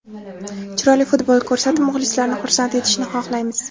Chiroyli futbol ko‘rsatib, muxlislarni xursand etishni xohlaymiz.